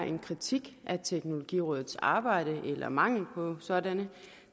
en kritik af teknologirådets arbejde eller mangel på sådant